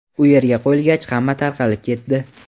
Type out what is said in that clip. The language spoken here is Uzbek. U yerga qo‘yilgach, hamma tarqalib ketdi.